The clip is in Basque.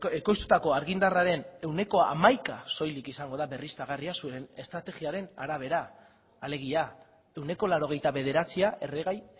ekoiztutako argindarraren ehuneko hamaika soilik izango da berriztagarria zuen estrategiaren arabera alegia ehuneko laurogeita bederatzia erregai